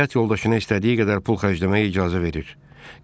Həyat yoldaşına istədiyi qədər pul xərcləməyə icazə verir.